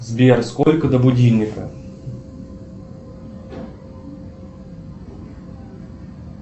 сбер сколько до будильника